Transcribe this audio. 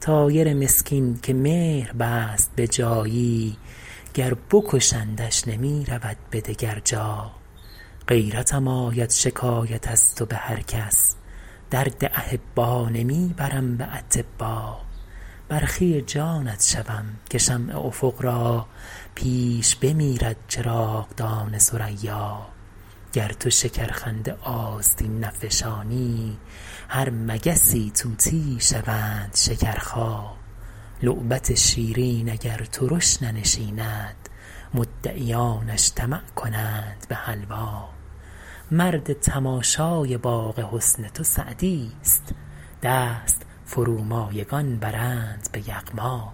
طایر مسکین که مهر بست به جایی گر بکشندش نمی رود به دگر جا غیرتم آید شکایت از تو به هر کس درد احبا نمی برم به اطبا برخی جانت شوم که شمع افق را پیش بمیرد چراغدان ثریا گر تو شکرخنده آستین نفشانی هر مگسی طوطیی شوند شکرخا لعبت شیرین اگر ترش ننشیند مدعیانش طمع کنند به حلوا مرد تماشای باغ حسن تو سعدیست دست فرومایگان برند به یغما